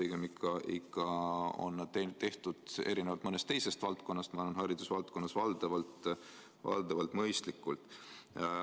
Pigem on need haridusvaldkonnas, erinevalt mõnest teisest valdkonnast, olnud minu arvates ikka valdavalt mõistlikud.